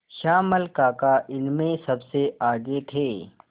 श्यामल काका इसमें सबसे आगे थे